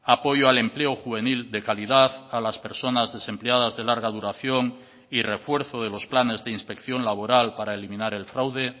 apoyo al empleo juvenil de calidad a las personas desempleadas de larga duración y refuerzo de los planes de inspección laboral para eliminar el fraude